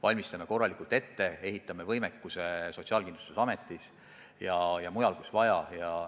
Valmistame korralikult ette, loome võimekuse Sotsiaalkindlustusametis ja mujal, kus vaja.